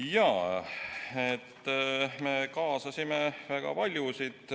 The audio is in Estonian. Jaa, me kaasasime väga paljusid.